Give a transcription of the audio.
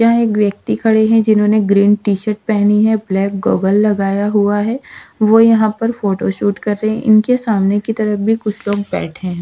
यह एक व्यक्ति खड़े है जिन्होंने ग्रीन टी शर्ट पहनी है ब्लैक गॉगल लगाया हुआ है वो यहां पर फोटो शूट कर रहे हैं इनके सामने की तरफ भी कुछ लोग बैठे है।